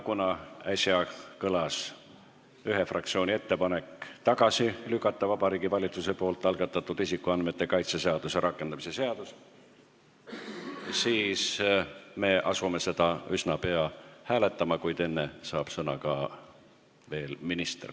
Kuna äsja kõlas ühe fraktsiooni ettepanek tagasi lükata Vabariigi Valitsuse algatatud isikuandmete kaitse seaduse rakendamise seaduse eelnõu, siis me asume seda üsna pea hääletama, kuid enne saab sõna minister.